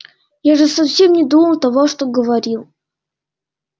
я же совсем не думал того что говорил